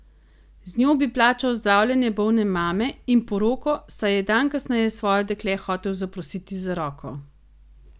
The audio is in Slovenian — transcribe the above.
Z njo bi plačal zdravljenje bolne mame in poroko, saj je dan kasneje svoje dekle hotel zaprositi za roko.